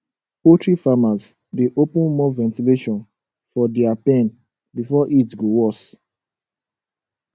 poultry farmers dey open more ventilation for dia pen before heat go worse